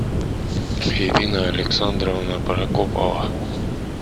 ирина александровна прокопова